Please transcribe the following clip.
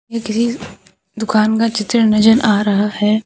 ये किसी दुकान का चित्र नजर आ रहा है।